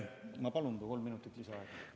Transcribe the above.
Ma palun kolm minutit lisaaega!